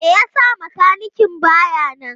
Me yasa makanikin baya nan?